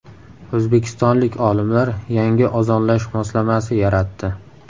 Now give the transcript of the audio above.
O‘zbekistonlik olimlar yangi ozonlash moslamasi yaratdi.